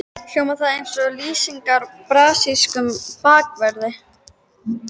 Hljómar það eins og lýsing á brasilískum bakverði?